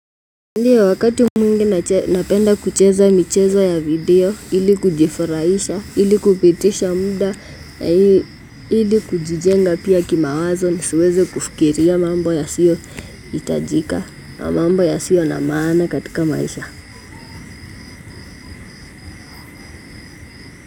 Ndiyo wakati mwingi napenda kucheza michezo ya video, ili kujifurahisha, ili kupitisha muda, ili kujijenga pia kima wazo ni siweze kufikiria mambo yasio hitajika, mambo ya siyo na maana katika maisha.